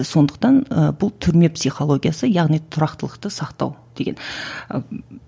сондықтан ы бұл түрме психологиясы яғни тұрақтылықты сақтау деген